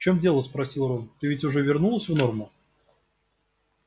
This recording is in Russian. в чём дело спросил рон ты ведь уже вернулась в норму